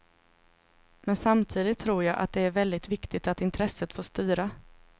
Men samtidigt tror jag att det är väldigt viktigt att intresset får styra.